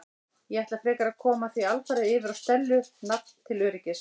Ég ætla frekar að koma því alfarið yfir á Stellu nafn til öryggis.